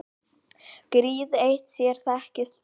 Gríð eitt sér þekkist vel.